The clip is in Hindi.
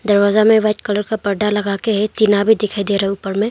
दरवाजा में वाइट कलर का पर्दा लगा के है टीना भी दिखाई दे रहा है ऊपर में।